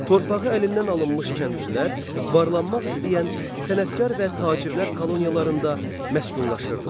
Torpağı əlindən alınmış kəndlilər, varlanmaq istəyən sənətkar və tacirlər koloniyalarında məskunlaşırdılar.